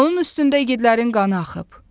Onun üstündə igidlərin qanı axıb.